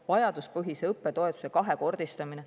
Vajaduspõhise õppetoetuse kahekordistamine.